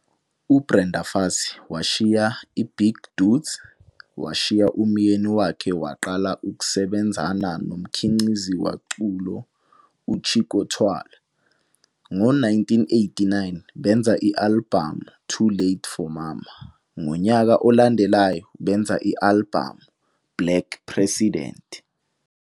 UBrenda Fassie washiya i-"Big Dudes", washiya umyeni wakhe waqala ukusebenzana nomkhiqizi waculo, uChicco Twala. Ngo1989 benza i-alibhamu "Too Late for Mama," ngonyaka olandelayo benza i-alibhamu "Black President."